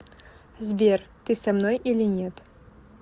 сбер ты со мной или нет